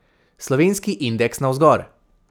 Slovenski indeks navzgor.